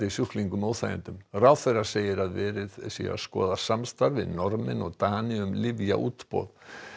sjúklingum óþægindum ráðherra segir verið að skoða samstarf við Norðmenn og Dani um lyfjaútboð